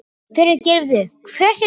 Fyrirgefðu, hver ert þú?